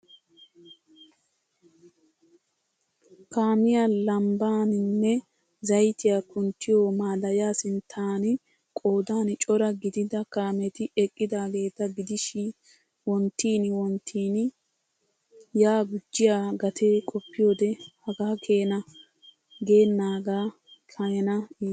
Kaamiya lambbanene zayttiya kunttiyo madaya sinttaan qoodan cora gidida kaametti eqqidaageeta gidishshii wonttin wonttiin yaa gujiya gatee qoppiyode hagaakeena geennaaga keena iittees.